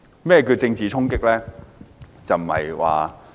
何謂政治衝擊呢？